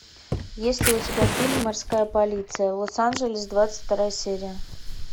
есть ли у тебя фильм морская полиция лос анджелес двадцать вторая серия